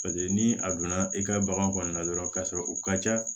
Paseke ni a donna i ka bagan kɔnɔna na dɔrɔn ka sɔrɔ u ka ca